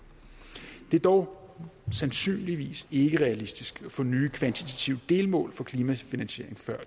det er dog sandsynligvis ikke realistisk at få nye kvantitative delmål for klimafinansiering før